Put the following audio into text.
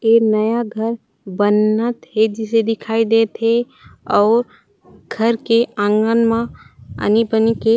ऐ नया घर बनत हे जिसे दिखाई देत हे और घर के आँगन मा आनी बनी के--